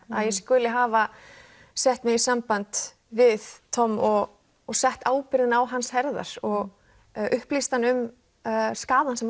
að ég skuli hafa sett mig í samband við Tom og sett ábyrgðina á hans herðar og upplýst hann um skaðann sem